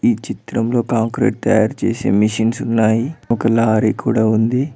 ఈ చిత్రంలో కాంక్రీట్ తయారు చేసే మిషిన్స్ ఉన్నాయి ఒక లారీ కూడా ఉంది.